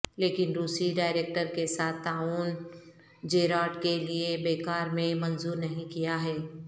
لیکن روسی ڈائریکٹر کے ساتھ تعاون جیرارڈ کے لئے بیکار میں منظور نہیں کیا ہے